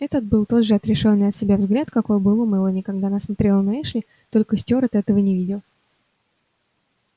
это был тот же отрешённый от себя взгляд какой был у мелани когда она смотрела на эшли только стюарт этого не видел